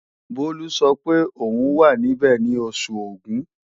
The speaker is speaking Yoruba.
Bólú sọ pé òun wà níbẹ̀ ní Oṣù Ògún